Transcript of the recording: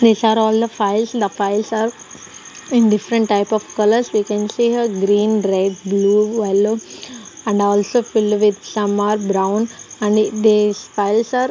these are all the files the files are in different type of colours we can see a green red blue yellow and also filled with some are brown and these files are--